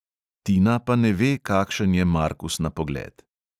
Tina pa ne ve, kakšen je markus na pogled.